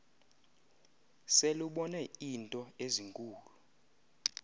selubone iinto ezinkulu